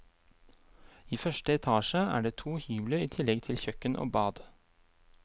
I første etasje er det to hybler i tillegg til kjøkken og bad.